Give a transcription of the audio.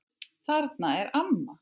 Þarna er amma!